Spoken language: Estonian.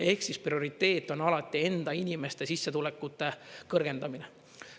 Ehk siis, prioriteet on alati enda inimeste sissetulekute kõrgendamine.